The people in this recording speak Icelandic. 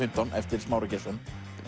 fimmtán eftir Smára Geirsson